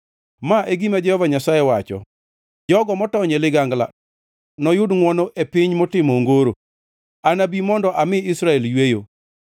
Ma e gima Jehova Nyasaye wacho: “Jogo motony e ligangla noyud ngʼwono e piny motimo ongoro; anabi mondo ami Israel yweyo.”